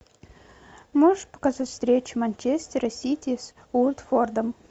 можешь показать встречу манчестера сити с уотфордом